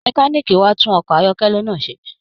Mẹ̀kániikí wà tun ọkọ ayọkẹlẹ náà ṣe.